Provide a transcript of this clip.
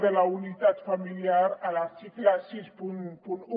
de la unitat familiar a l’article seixanta un